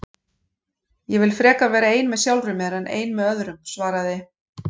Ég vil frekar vera ein með sjálfri mér en ein með öðrum svaraði